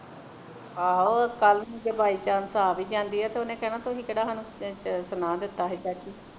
ਆਹੋ ਕੱਲ੍ਹ ਨੂੰ ਜੇ by chance ਆਹ ਵੀ ਜਾਂਦੀ ਹੈ ਤੇ ਉਹਨੇ ਕਹਿਣਾ ਤੁਸੀਂ ਕਿਹੜਾ ਸਾਨੂੰ ਅਰ ਸਾਨੂੰ ਸੁਣਾ ਦਿਤਾ ਸੀ ਚਾਚੀ